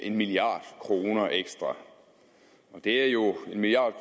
en milliard kroner ekstra det er jo en milliard